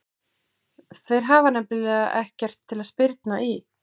Þeir hafa nefnilega ekkert til að spyrna í.